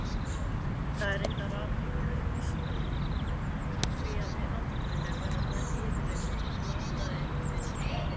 Það er reyndar athyglisvert, því að með aldrinum verða menn yfirleitt latari við það.